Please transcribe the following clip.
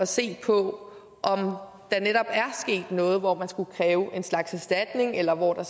se på om der netop er sket noget hvor man skulle kræve en slags erstatning eller hvor der